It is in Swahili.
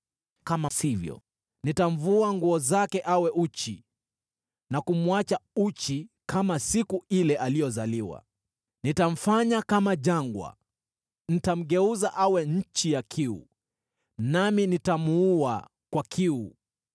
Kama sivyo nitamvua nguo zake awe uchi na kumwacha uchi kama siku ile aliyozaliwa. Nitamfanya kama jangwa, nitamgeuza awe nchi ya kiu, nami nitamuua kwa kiu.